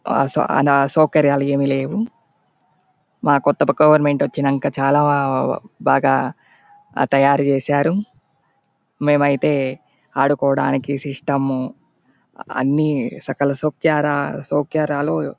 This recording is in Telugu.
ఆసా ఆన సౌకర్యాలు ఏమి లేవు. మా కొత్త ప-గవర్నమెంట్ వచ్చినంక చాలా బాగా తయారు చేసారు. మేమైతే ఆడుకోవడానికి సిస్టము అన్ని సకల సౌక్యారా- సౌకర్యాలు--